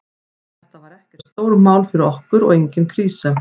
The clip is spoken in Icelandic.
Þetta var ekkert stórmál fyrir okkur og engin krísa.